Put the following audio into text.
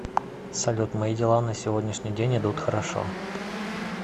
салют мои дела на сегодняшний день идут хорошо